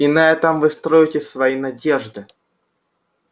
и на этом вы строите свои надежды